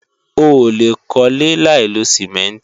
Oòlè kólé láìlo Sìmẹ́ǹtì